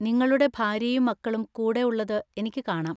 നിങ്ങളുടെ ഭാര്യയും മക്കളും കൂടെ ഉള്ളത് എനിക്ക് കാണാം.